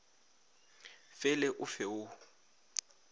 fe le o fe wo